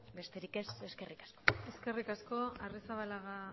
besterik ez eskerrik asko eskerrik asko arrizabalaga